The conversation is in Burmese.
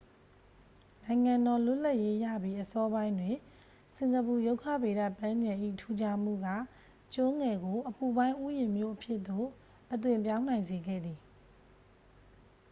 နိုင်ငံတော် လွတ်လပ်ရေးရပြီး အစောပိုင်းတွင် စင်ကာပူ ရုက္ခဗေဒပန်းခြံ၏ ထူးခြားမှုက ကျွန်းငယ်ကို အပူပိုင်း ဥယျာဉ်မြို့အဖြစ်သို့ အသွင်းပြောင်းနိုင်စေခဲ့သည်